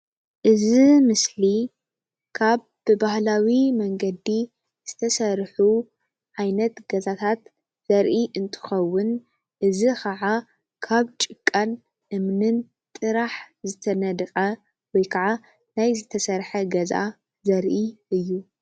እዚ ምስሊ ካብ ብባህላዊ መንገዲ ዝተሰርሑ ዓይነት ገዛታት ዘርኢ እንትከውን እዚ ክዓ ካብ ጭቃን እምንን ጥራሕ ዝተነደቀ ወይ ክዓ ናይ ዝተሰርሐ ገዛ ዘርኢ እዩ፡፡